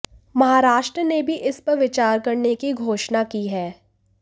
महाराष्ट्र ने भी इस पर विचार करने की घोषणा की है